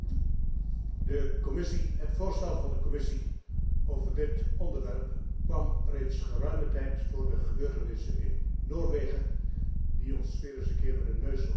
Het voorstel van de Commissie over dit onderwerp kwam reeds geruime tijd voor de gebeurtenissen in Noorwegen, die ons weer eens een keer met de neus op de feiten hebben gedrukt.